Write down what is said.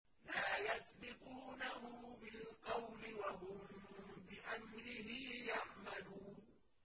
لَا يَسْبِقُونَهُ بِالْقَوْلِ وَهُم بِأَمْرِهِ يَعْمَلُونَ